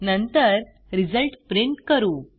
नंतर result print करू